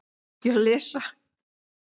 Það er mitt mat.